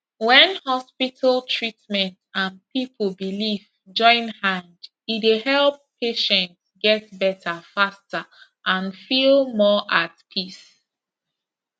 when hospital treatment and people belief join hand e dey help patient get better faster and feel more at peace